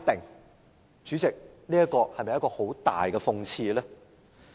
代理主席，這是否很大的諷刺？